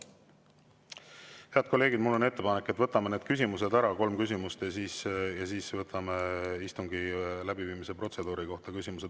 Head kolleegid, mul on ettepanek, et võtame need küsimused ära, kolm küsimust, ja siis võtame küsimused istungi läbiviimise protseduuri kohta.